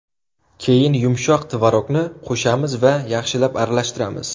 Keyin yumshoq tvorogni qo‘shamiz va yana yaxshilab aralashtiramiz.